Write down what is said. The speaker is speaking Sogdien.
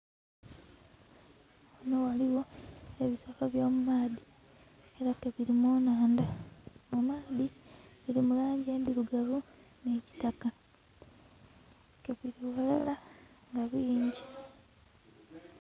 Ghano ghaligho ebisolo by'omu maadhi era ke biri mu nandha, mu maadhi ke biri mu langi endhirugavu ni kitaka ke biri ghalala nga bingi.